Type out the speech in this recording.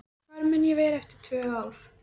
Hvar mun ég vera eftir tvö ár?